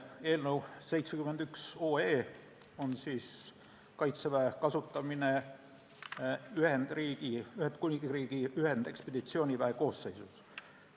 Eelnõu 71 on Kaitseväe kasutamine Ühendkuningriigi ühendekspeditsiooniväe koosseisus.